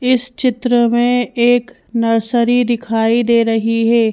इस चित्र में एक नर्सरी दिखाई दे रही है।